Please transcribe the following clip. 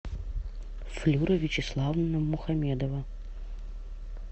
флюра вячеславовна мухамедова